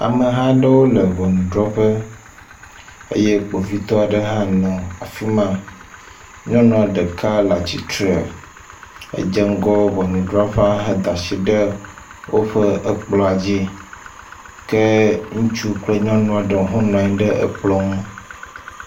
Ameha aɖewo le ŋɔnudrɔƒe eye kpovitɔ aɖe hã nɔ afi ma. Nyɔnua ɖeka le atsitre edze ŋgɔ ŋɔnɔdrɔƒea ede asi ɖe woƒe kplɔ̃a dzi ke ŋutsu kple nyɔnua ɖewo ho nɔ anyi ɖe ekplɔ̃ ŋu.